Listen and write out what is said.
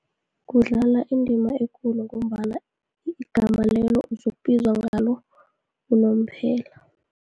Kudlala indima ekulu, ngombana igama lelo uzokubizwa ngalo unomphela.